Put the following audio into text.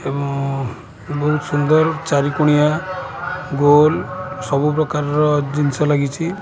ଏବଂ ବୋହୁତ୍ ସୁନ୍ଦର୍ ଚାରିକୋଣିଆ ଗୋଲ୍ ସବୁ ପ୍ରକାର ର ଜିନ୍ସ ଲାଗିଛି।